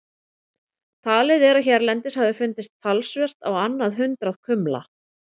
Talið er að hérlendis hafi fundist talsvert á annað hundrað kumla.